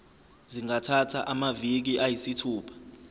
zingathatha amaviki ayisithupha